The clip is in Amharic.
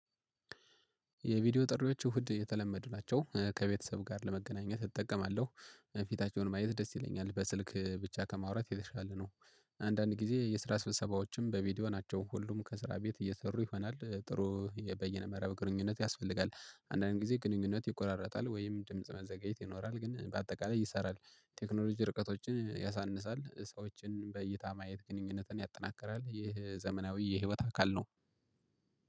የቪዲዮ ጥሪዎች እሁድ የተለመዱ ናቸው ከቤተሰብ ጋር ለመገናኘት እጠቀማለሁ። ፊታቸውን ማየት ደስ ይለኛል በስልክ ብቻ ከማውራት የተሻለ ነው። አንዳንድ ጊዜ የስራ ስብሰባዎችም በቪዲዮ ናቸው ሁሉም ከስራ ቤት እየሰሩ ይሆናል ጥሩ የበይነ መርብ ግንኙነት ያስፈልጋል አንዳንድ ጊዜ ግንኙነት ይቆራረጣል ወይም ድምጽ መዘገየት ይኖራል ግን በአጠቃላይ ይሰራል። ቴክኖሎጂ ርቀቶችን ያሳንሳል ሰዎችን በእይታ ማየት ግንኙነትን ያጠናክራል ይህ ዘመናዊ የህይወት አካል ነው።